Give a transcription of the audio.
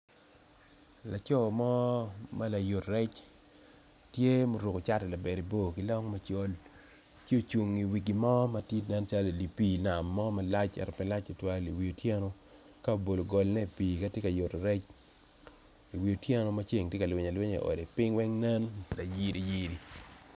Laco mo ma layut rec tye ma oruko cati labade bor ki long macol ci ocung i wi gin mo manen calo idipi nam mo malac ento pe lac tutwal i wi otyeno ka obolo golne ipi katye ka yuto rec i wi otyeno maceng tye ka lwiny alwinya i ode ping weng nen layiti yiti.